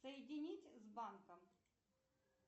соединить с банком